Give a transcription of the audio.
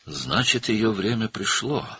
Deməli, onun vaxtı gəlmişdi.